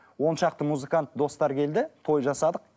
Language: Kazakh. он шақты музыкант достар келді той жасадық